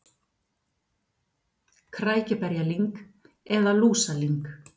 Krækiberjalyng eða lúsalyng.